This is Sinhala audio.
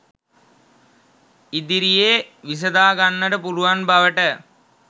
ඉදිරියේ විසඳාගන්නට පුළුවන් බවට